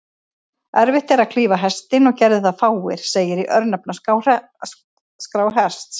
Erfitt er að klífa Hestinn, og gerðu það fáir, segir í örnefnaskrá Hests.